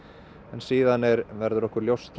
en síðan verður okkur ljóst